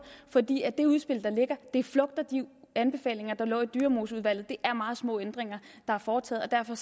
fordi det udspil der ligger flugter de anbefalinger der lå i dyremoseudvalget det er meget små ændringer der er foretaget og derfor